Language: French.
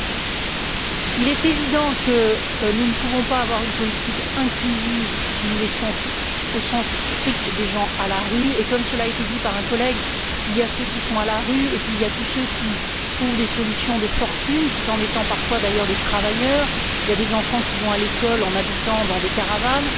2020. Il est évident que nous ne pouvons pas avoir une politique inclusive si nous laissons, au sens strict, des gens à la rue et, comme cela a été dit par un collègue, il y a ceux qui sont à la rue, il y a tous ceux qui trouvent des solutions de fortune tout en étant parfois d'ailleurs des travailleurs, il y a des enfants qui vont à l'école en habitant dans des caravanes.